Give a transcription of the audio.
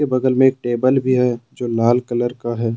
बगल में एक टेबल भी है जो लाल कलर का है।